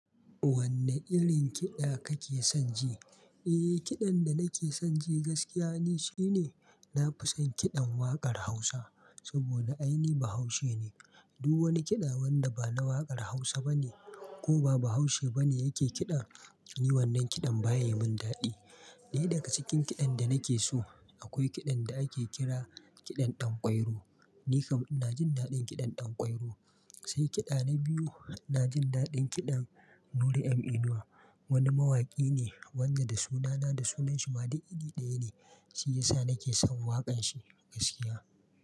Wanne irin kiɗa kake son ji? Eh, kiɗan da nake son ji gaskiya ne shine na fi son kiɗan waƙar Hausa. Saboda ainihi bahaushe ne. Duk wani kiɗa wanda ba na waƙar Hausa bane ko ba Bahaushe bane yake kiɗa, yi wannan kiɗan baya yi mun daɗi. Daya daga cikin kiɗan da nake so, akwai kiɗan da ake kira kiɗan Ɗanƙwairo. Ni kam na jin daɗin kiɗan Ɗanƙwairo. Sai kiɗa na biyu, na jin daɗin kiɗan Nuri m inuwa wani mawaki ne wanda da sunana da sunanshi ma dai iri ɗaya ne. Shi ya sa nake son waƙanshi gaskiya.